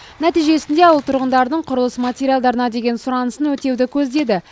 нәтижесінде ауыл тұрғындарының құрылыс материалдарына деген сұранысын өтеуді көздеді